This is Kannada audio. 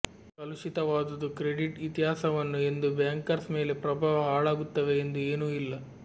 ಕಲುಷಿತವಾದುದು ಕ್ರೆಡಿಟ್ ಇತಿಹಾಸವನ್ನು ಎಂದು ಬ್ಯಾಂಕರ್ಸ್ ಮೇಲೆ ಪ್ರಭಾವ ಹಾಳಾಗುತ್ತವೆ ಎಂದು ಏನೂ ಇಲ್ಲ